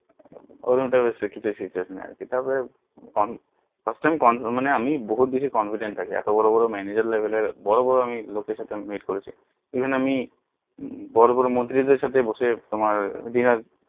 first time কম মানে আমি বহুত বেশি confidant থাকি এত বড়ো বড়ো manager লেবেলের বড়ো বড়ো লোকের সাথে আমি meet করেছি এখানে আমি বড়ো বড়ো মন্ত্রী দের সাথে বসে আমি dinner